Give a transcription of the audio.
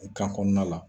Kan kɔnɔna la